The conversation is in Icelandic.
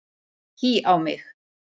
Hí á mig!